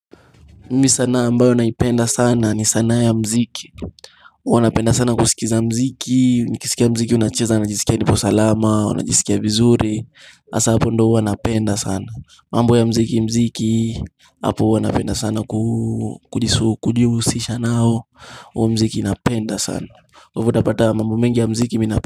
Ni sanaa ambayo naipenda sana ni sanaa ya muziki huwa napenda sana kusikiza muziki Nikisikia muziki unacheza najisikia nipo salama najisikia vizuri hasaa hapo ndio huwa napenda sana mambo ya muziki muziki hapo huwa napenda sana kuuu kujisu kujihusisha nao huo muziki napenda sana kwa hivo utapata mambo mengi ya muziki mina.